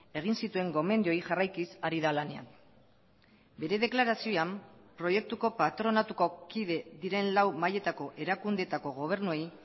egin zituen gomendioei jarraikiz ari da lanean bere deklarazioan proiektuko patronatuko kide diren lau mailetako erakundeetako gobernuei